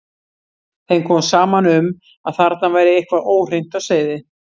Þeim kom saman um að þarna væri eitthvað óhreint á seiði.